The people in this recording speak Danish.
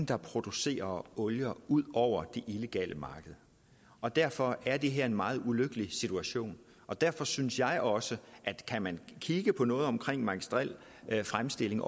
der producerer olier ud over det illegale marked og derfor er det her en meget ulykkelig situation og derfor synes jeg også at kan man kigge på noget om magistrel fremstilling